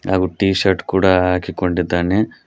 ಹಾಗು T shirt ಕೂಡ ಹಾಕಿಕೊಂಡಿದ್ದಾನೆ.